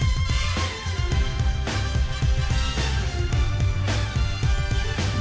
við